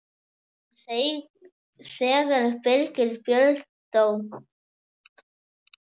Þegar Birgir Björn dó.